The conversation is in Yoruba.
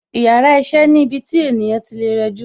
Yàrá iṣẹ́ ni ibi tí ènìyàn tí lè rẹjú